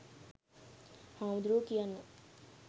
හාමුදුරුවෝ කියන්න